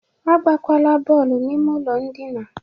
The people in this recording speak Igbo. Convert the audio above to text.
Agbakwala bọọlụ n'ime ụlọ ndịna!